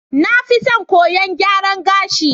Na fi son koyon gyaran gashi.